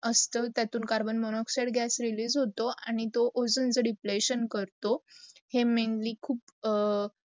असत. त्यातून carbon monoxide gas release होतो आणी तो ओझॉनच deplation करतो. हे mainly खूप